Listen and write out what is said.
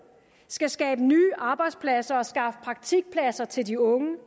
skal skabe nye arbejdspladser og skaffe praktikpladser til de unge